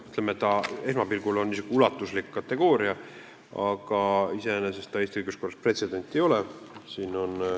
Esmapilgul on see niisugune ulatuslik kategooria, aga iseenesest see Eesti õiguskorras pretsedent ei ole.